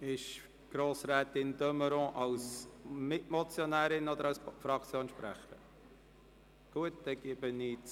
Steht Grossrätin de Meuron als Mitmotionärin oder als Fraktionssprecherin auf der Rednerliste?